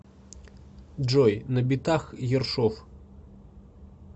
джой на битах ершов